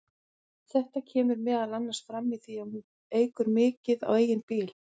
Þetta kemur meðal annars fram í því að hún ekur mikið á eigin bíl.